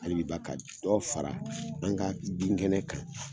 A yiriba ka dɔ fara an ka binkɛnɛ kan.